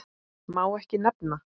Má ekki nefna